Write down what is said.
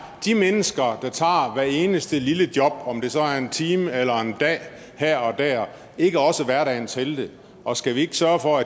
de mennesker der tager hvert eneste lille job om det så er en time eller en dag her og der ikke også er hverdagens helte og skal vi ikke sørge for